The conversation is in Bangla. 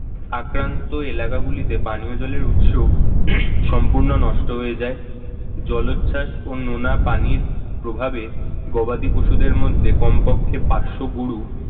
আক্রান্ত এলাকাগুলিতে পানীয় জলের উৎস উম সম্পূর্ণ নষ্ট হয়ে যায় জলোচ্ছ্বাস ও নোনা পানির প্রভাবে গবাদি পশুদের মধ্যে কমপক্ষে পাঁচশো গরু